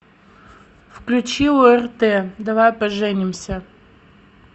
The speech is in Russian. включи орт давай поженимся